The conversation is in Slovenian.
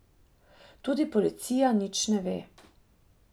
Tudi policija nič ne ve.